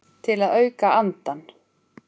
Til að auka andann.